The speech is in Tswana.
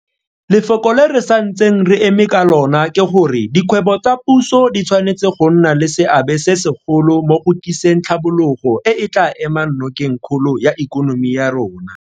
Lefoko le re santseng re eme ka lona ke gore dikgwebo tsa puso di tshwanetse go nna le seabe se segolo mo go tliseng tlhabologo e e tla emang nokeng kgolo ya ikonomi ya rona.